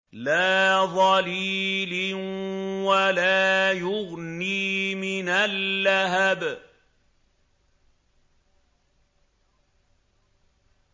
لَّا ظَلِيلٍ وَلَا يُغْنِي مِنَ اللَّهَبِ